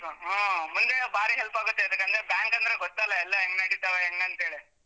ಹ ಹಾ ಮುಂದೆ ಬಾರಿ help ಆಗುತ್ತೆ ಎದಕಂದ್ರೆ bank ಅಂದ್ರೆ ಗೊತ್ತಲ್ಲ ಎಲ್ಲ ಹೆಂಗ್ ನಡಿತಾವೆ ಹೆಂಗ್ ಅಂತೇಳಿ.